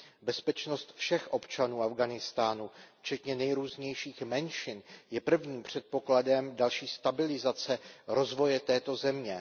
Bezpečnost všech občanů Afghánistánu včetně nejrůznějších menšin je prvním předpokladem další stabilizace rozvoje této země.